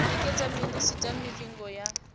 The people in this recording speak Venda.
u nekedza minisita mivhigo ya